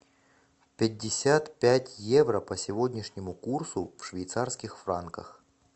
пятьдесят пять евро по сегодняшнему курсу в швейцарских франках